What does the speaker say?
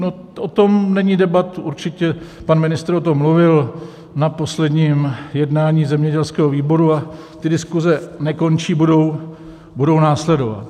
No, o tom není debat, určitě pan ministr o tom mluvil na posledním jednání zemědělského výboru, a ty diskuze nekončí, budou následovat.